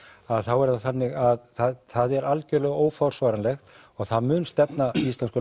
að þá er það þannig að það er algjörlega óforsvaranlegt og það mun stefna íslenskum